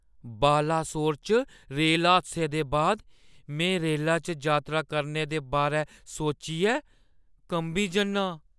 बालासोर च रेल हादसे दे बाद, में रेलै च यात्रा करने दे बारै सोचियै कंबी जन्ना आं